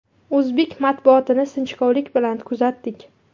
O‘zbek matbuotini sinchikovlik bilan kuzatdik.